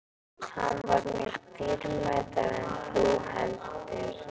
Hann var mér dýrmætari en þú heldur.